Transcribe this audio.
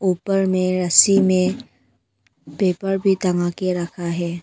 ऊपर में रस्सी में पेपर भी टंगा के रखा है।